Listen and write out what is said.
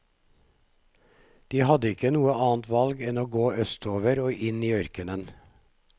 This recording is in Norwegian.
De hadde ikke noe annet valg enn å gå østover og inn i ørkenen.